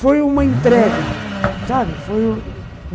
Foi uma entrega, sabe? Foi